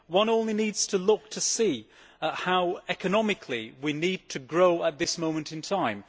One only needs to look to see how, economically, we need to grow at this moment at time.